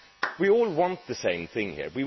We all want the same thing here.